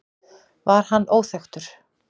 Var hann óþekkur?